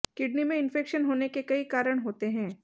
kidney में infection होने के कई कारण होते हैं